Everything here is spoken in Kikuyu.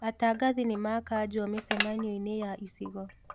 Atangathi nĩmakanjwo mĩcemanio-inĩ ya icigo